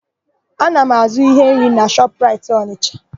Ana m azụ íhé nri na Shọpraịt Ọnịsha.